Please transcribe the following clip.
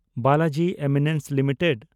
Balaji Amines limited